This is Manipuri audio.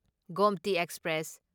ꯒꯣꯝꯇꯤ ꯑꯦꯛꯁꯄ꯭ꯔꯦꯁ